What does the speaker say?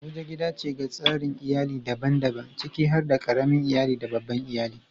Abuja gida ce ga tsarin iyali daban-daban, ciki har da ƙaramin iyali da babban iyali.